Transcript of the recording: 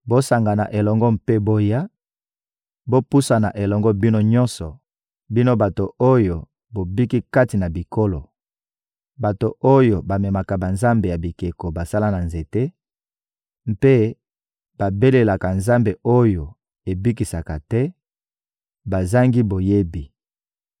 Bosangana elongo mpe boya, bopusana elongo bino nyonso, bino bato oyo bobiki kati na bikolo! Bato oyo bamemaka banzambe ya bikeko basala na nzete mpe babelelaka nzambe oyo ebikisaka te; bazangi boyebi.